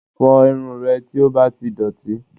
Fọ irun rẹ tí ó bá ti dọ̀tí